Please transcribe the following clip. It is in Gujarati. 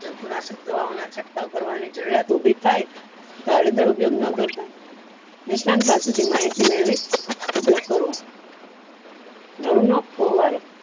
જંતુ નાશક દવાઓ ના છટકાવ કરવા ની જરૂરીયાત ઉભી થાય તો આડેધડ ઉપયોગ ના કરતા નિષ્ણાંત પાસે થી માહિતી મેળવી ઉપયોગ કરવો ઘર નો કોહ્વાળ